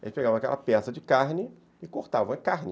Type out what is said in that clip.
Eles pegavam aquela peça de carne e cortavam a carne.